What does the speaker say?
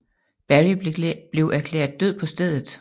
Berry blev erklæret død på stedet